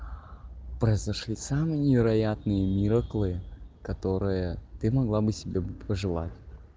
произошли самые невероятные мироклы которая ты могла бы себе пожелать